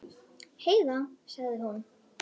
Heiða, sagði hún.